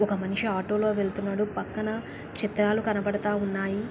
ఒక మనిషి ఆటో లో వెళ్తున్నాడు. పక్కన చిత్రాలు కన్పడతా ఉన్నాయి.